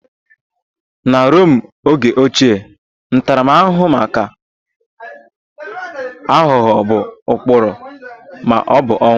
Na Rom oge ochie, ntaramahụhụ maka aghụghọ bụ mkpọrọ ma ọ bụ ọnwụ